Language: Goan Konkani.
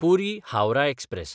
पुरी–हावराह एक्सप्रॅस